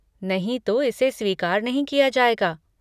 नहीं तो इसे स्वीकार नहीं किया जाएगा।